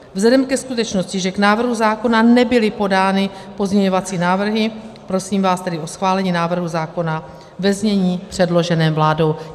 Vzhledem ke skutečnosti, že k návrhu zákona nebyly podány pozměňovací návrhy, prosím vás tedy o schválení návrhu zákona ve znění předloženém vládou.